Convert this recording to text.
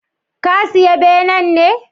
Ka siya benen ne?